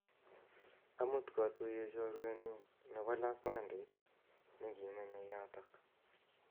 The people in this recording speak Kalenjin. Amut kwatuye chorwennyu nepo lakwandit nekimenyei yotok